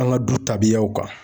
An ka du tabiyaw kan.